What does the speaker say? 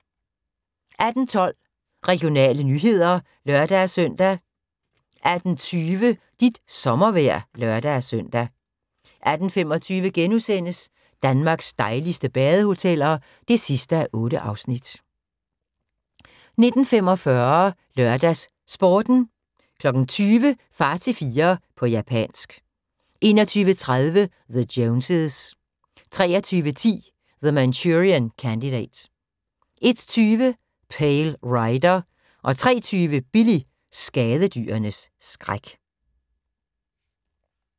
18:12: Regionale nyheder (lør-søn) 18:20: Dit sommervejr (lør-søn) 18:25: Danmarks dejligste badehoteller (8:8)* 19:45: LørdagsSporten 20:00: Far til fire – på japansk 21:30: The Joneses 23:10: The Manchurian Candidate 01:20: Pale Rider 03:20: Billy – skadedyrenes skræk